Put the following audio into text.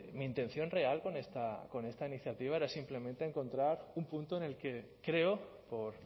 mi intención real con esta iniciativa era simplemente encontrar un punto en el que creó por